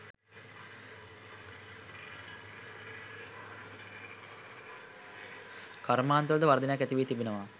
කර්මාන්තවල ද වර්ධනයක් ඇති වී තිබෙනවා.